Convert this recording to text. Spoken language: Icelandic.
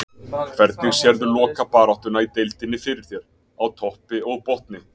Hvernig sérðu lokabaráttuna í deildinni fyrir þér, á toppi og botni?